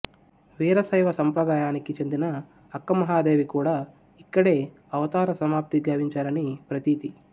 వీరశైవ సంప్రదాయానికి చెందిన అక్క మహాదేవి కూడా ఇక్కడే అవతార సమాప్తి గావించారని ప్రతీతి